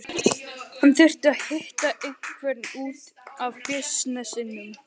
Hann þurfti að hitta einhvern út af bisnessinum.